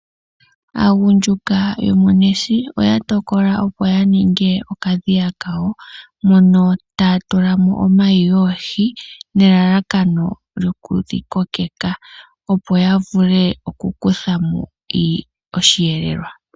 Aagundjuka yomOnesi oya tokola opo ya ninge okadhiya kawo, mono taya tula mo omayi goohi nelalakano lyokudhi kokeka opo ya vule oku kutha mo osheelelwa.